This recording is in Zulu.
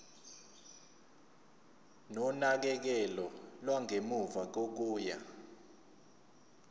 nonakekelo lwangemuva kokuya